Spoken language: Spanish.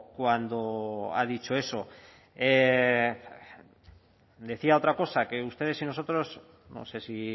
cuando ha dicho eso decía otra cosa que ustedes y nosotros no sé si